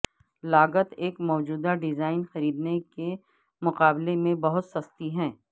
لاگت ایک موجودہ ڈیزائن خریدنے کے مقابلے میں بہت سستی ہے